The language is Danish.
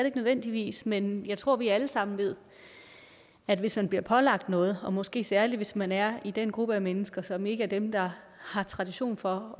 ikke nødvendigvis men jeg tror at vi alle sammen ved at hvis man bliver pålagt noget og måske særlig hvis man er i den gruppe af mennesker som ikke er dem der har tradition for